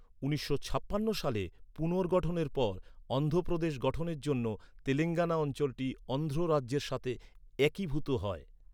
উনিশশো ছাপ্পান্ন সালে পুনর্গঠনের পর, অন্ধ্র প্রদেশ গঠনের জন্য তেলেঙ্গানা অঞ্চলটি অন্ধ্র রাজ্যের সাথে একীভূত হয়।